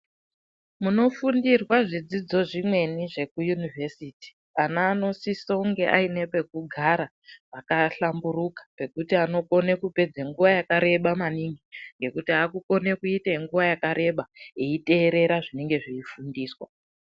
Munofundirwa zvidzidzo zvimweni zveku univesiti ana anosisonge ane pekugara pakahlamburuka pekuti anokone kupedze nguwa yakareba maningi yekuti akukone kuite nguwa yakareba eiterera zvinofundiswa.